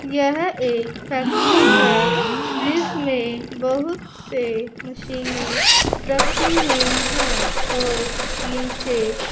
यह एक फैक्ट्री है जिसमें बहुत से मशीने रखे हुई हैं और नीचे--